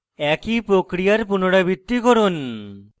একই প্রক্রিয়ার পুনরাবৃত্তি করুন